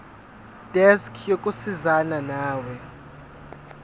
desk yokusizana nawe